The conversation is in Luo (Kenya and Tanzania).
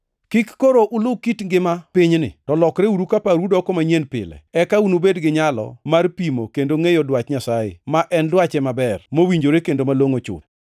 Kik koro ulu kit ngima pinyni, to lokreuru ka parou doko manyien pile, eka unubed gi nyalo mar pimo kendo ngʼeyo dwach Nyasaye, ma en dwache maber, mowinjore kendo malongʼo chuth.